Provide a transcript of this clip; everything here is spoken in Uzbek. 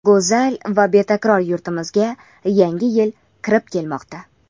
Go‘zal va betakror yurtimizga yangi yil kirib kelmoqda.